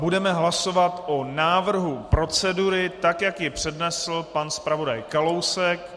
Budeme hlasovat o návrhu procedury, tak jak ji přednesl pan zpravodaj Kalousek.